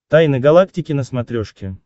тайны галактики на смотрешке